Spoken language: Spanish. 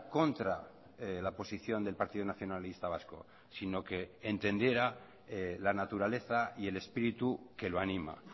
contra la posición del partido nacionalista vasco sino que entendiera la naturaleza y el espíritu que lo anima